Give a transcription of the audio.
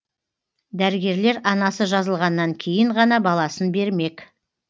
дәрігерлер анасы жазылғаннан кейін ғана баласын бермек